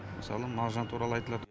мысалы мағжан туралы айтылад